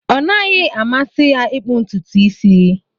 Ọ naghị amasị ya ịkpụ ntutu isi.